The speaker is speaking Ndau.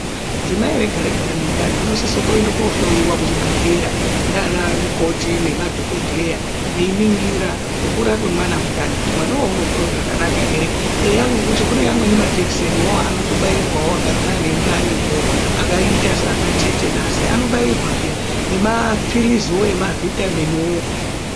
Dzimai Rega rega rine ndani rinosisa kuenda kohloiwa kuchibhedhlera ndiana mukoti nemadhokodheya veiningira kukura kwemwana mundani, kuti mwanawo unokura zvakanaka ere , eya ngekuti kune amweni majekiseniwo anotobairwawo akadzi ane ndaniwo akaita sana tetenasi anobairwa peya nemaphiliziwo ema vitaminiwo.